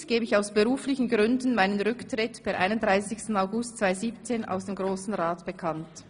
] Hiermit gebe ich aus beruflichen Gründen meinen Rücktritt per 31. August 2017 aus dem Grossen Rat bekannt.